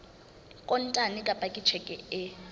kontane kapa ka tjheke e